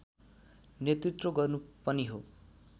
नेतृत्व गर्नु पनि हो